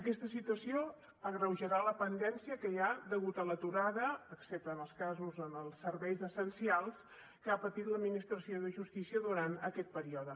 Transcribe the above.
aquesta situació agreujarà la litispendència que hi ha degut a l’aturada excepte en els casos dels serveis essencials que ha patit l’administració de justícia durant aquest període